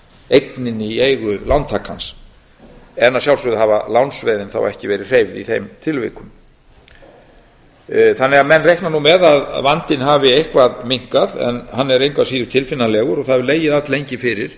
eigninni í eigu lántakans en að sjálfsögðu hafa lánsveðin þá ekki verið hreyfð í þeim tilvikum menn reikna því með að vandinn hafi eitthvað minnkað en hann er engu að síður tilfinnanlegur og það hefur legið alllengi fyrir